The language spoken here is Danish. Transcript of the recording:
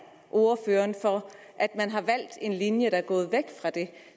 ordføreren for at man har valgt en linje der er gået væk fra det